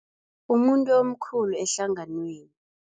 Umuntu omkhulu ehlanganweni.